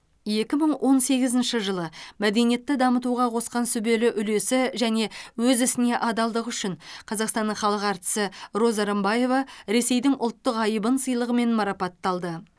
екі мың он сегізінші жылы мәдениетті дамытуға қосқан сүбелі үлесі және өз ісіне адалдығы үшін қазақстанның халық әртісі роза рымбаева ресейдің ұлттық айбын сыйлығымен марапатталды